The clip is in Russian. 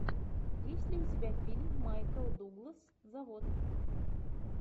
есть ли у тебя фильм майкл дуглас завод